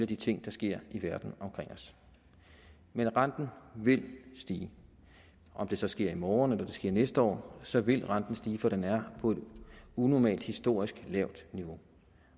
de ting der sker i verden omkring os men renten vil stige om det så sker i morgen eller det sker næste år så vil renten stige for den er på et unormalt historisk lavt niveau